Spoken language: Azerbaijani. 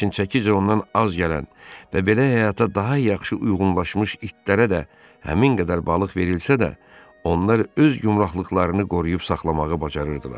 Lakin çəkicə ondan az gələn və belə həyata daha yaxşı uyğunlaşmış itlərə də həmin qədər balıq verilsə də, onlar öz gümrahlıqlarını qoruyub saxlamağı bacarırdılar.